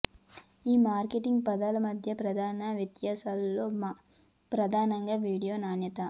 ఈ మార్కెటింగ్ పదాల మధ్య ప్రధాన వ్యత్యాసం లో ప్రధానంగా వీడియో నాణ్యత